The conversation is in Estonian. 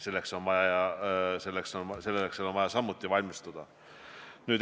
Selleks on vaja samuti valmistuda.